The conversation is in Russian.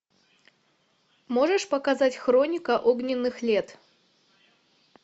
можешь показать хроника огненных лет